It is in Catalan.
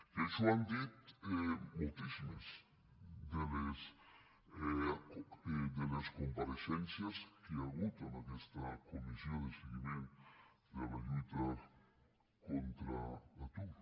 i això ho han dit moltíssimes de les compareixences que hi ha hagut en aquesta comissió de seguiment de la lluita contra l’atur